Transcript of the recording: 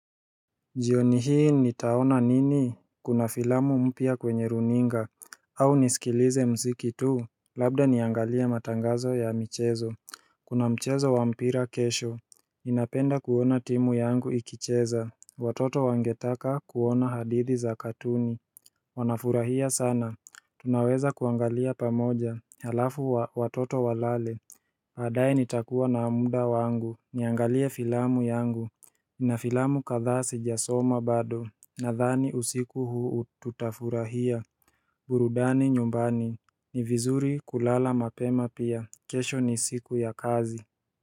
Jioni hii nitaona nini, kuna filamu mpya kwenye runinga au nisikilize muziki tu, labda niangalia matangazo ya michezo Kuna mchezo wa mpira kesho Ninapenda kuona timu yangu ikicheza. Watoto wangetaka kuona hadithi za katuni Wanafurahia sana. Tunaweza kuangalia pamoja, halafu watoto walale baadaye nitakuwa na muda wangu, niangalie filamu yangu Nina filamu kadhaa sijasoma bado. Nadhani usiku huu tutafurahia burudani nyumbani. Ni vizuri kulala mapema pia. Kesho ni siku ya kazi.